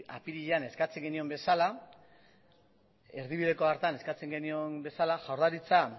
apirilean eskatzen genion bezala erdibideko hartan eskatzen genion bezala jaurlaritza